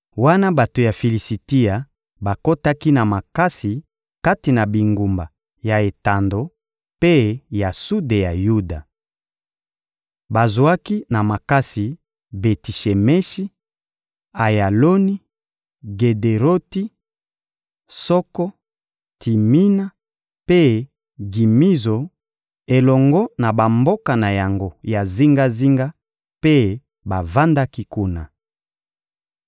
wana bato ya Filisitia bakotaki na makasi kati na bingumba ya etando mpe ya sude ya Yuda. Bazwaki na makasi Beti-Shemeshi, Ayaloni, Gederoti, Soko, Timina mpe Gimizo elongo na bamboka na yango ya zingazinga, mpe bavandaki kuna.